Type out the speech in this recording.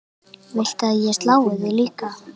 Viltu að ég slái þig líka?